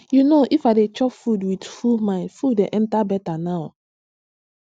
you know if i dey chop with full mind food dey enter better now